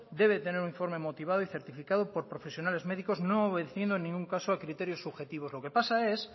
debe tener un informe motivado y certificado por profesionales médicos no obedeciendo en ningún caso a criterios subjetivos lo que pasa es